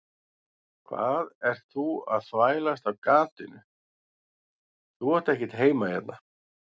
Hvað ert þú að þvælast á gatinu, þú átt ekkert heima hérna.